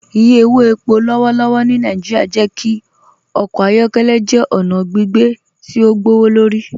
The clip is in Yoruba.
Ìyẹ̀ owó ẹ̀pọ̀ lọ́wọ̀lọ́wọ̀ ni Naijíríà jẹ́ kí ọkọ ayọkẹlẹ jẹ́ ọna gbìgbé tí o gbọwọ́lọ́rì